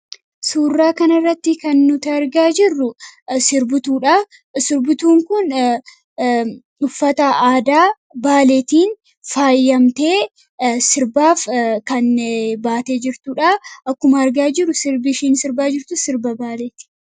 Suurraa kanarratti kan nuti argaa jirru sirbituudha. Sirbituun kun uffata aadaa Baaleetiin faayyamtee sirbaaf kan baatee jirtuuu dha. Akkuma argaa jirru sirbi ishiin sirbaa jirtus sirba Baaleeti.